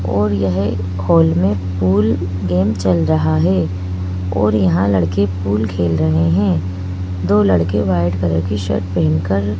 और यह हॉल में पुल गेम चल रहा है और यहां लड़के पुल खेल रहे हैं दो लड़के व्हाइट कलर की शर्ट पहेन कर --